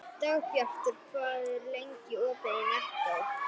Dagbjartur, hvað er lengi opið í Nettó?